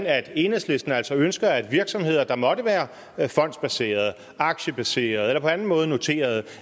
at enhedslisten altså ønsker at virksomheder der måtte være fondsbaserede aktiebaserede eller på anden måde noterede